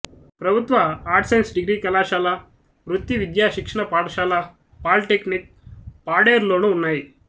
ప్రభుత్వ arts science degree కళాశాల వృత్తి విద్యా శిక్షణ పాఠశాల పాలీటెక్నిక్ పాడేరులోనూ ఉన్నాయి